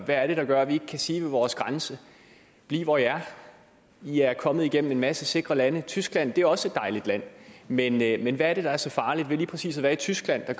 er det der gør at vi ikke kan sige ved vores grænse bliv hvor i er i er kommet igennem en masse sikre lande og tyskland er også et dejligt land men land men hvad er det der så farligt lige præcis at være i tyskland at